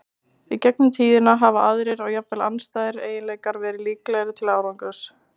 Í gegnum tíðina hafa aðrir, og jafnvel andstæðir, eiginleikar verið líklegri til árangurs.